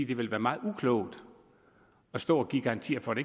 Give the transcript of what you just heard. det ville være meget uklogt at stå og give garantier for